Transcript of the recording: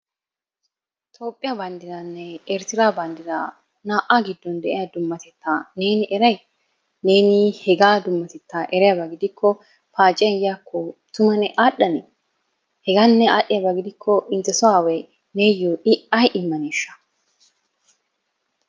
Toophiya banddranne Eritteera banddra naa'a dummaatetta neen eray? Neeni hegaa dummateta eriyaaba gidikko paaciyaan yiyaako tumma aadhdhane? Hega ne aadhdhiyaaba gidikko intte so aaway neeyo ay immaneshsha?